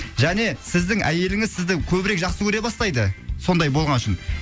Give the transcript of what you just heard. және сіздің әйеліңіз сізді көбірек жақсы көре бастайды сондай болғаны үшін